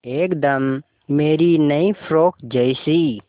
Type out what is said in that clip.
एकदम मेरी नई फ़्रोक जैसी